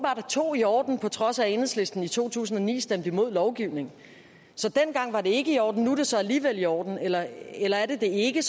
er to i orden på trods af at enhedslisten i to tusind og ni stemte imod lovgivningen så dengang var det ikke i orden nu er det så alligevel i orden eller eller er det ikke